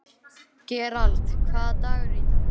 Gerald, hvaða dagur er í dag?